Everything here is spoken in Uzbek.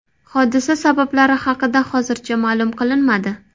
Hodisa sabablari haqida hozircha ma’lum qilinmadi.